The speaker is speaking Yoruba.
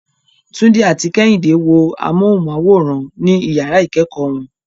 Tunde and Kehinde watch TV in their classroom.